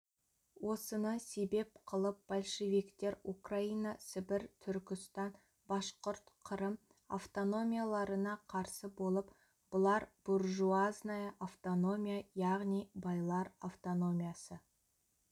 осыны себеп қылып большевиктер украина сібір түркістан башқұрт қырым автономияларына қарсы болып бұлар буржуазная автономия яғни байлар автономиясы